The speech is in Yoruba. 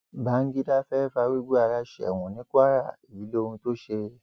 bangida fẹẹ farúgbó ara sẹwọn ní kwara èyí lohun tó ṣe